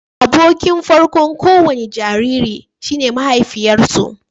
Abokin farko'n ko wani jariri shi ne mahaifiyarsu